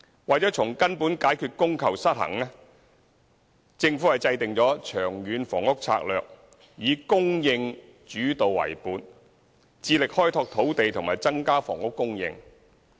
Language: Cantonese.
為了從根本解決供求失衡，政府制訂《長遠房屋策略》，以"供應主導"為本，致力開拓土地和增加房屋供應。